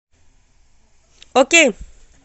окей